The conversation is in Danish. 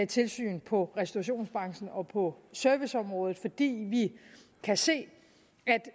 tilsyn på restaurationsbranchen og på serviceområdet fordi vi kan se